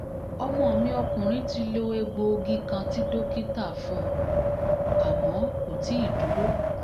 ọmọ mi ọkùnrin ti lo egboogí kan tí dókítà fún un àmọ́ kò tíì dúró